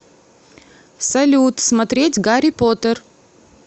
салют смотреть гарри поттер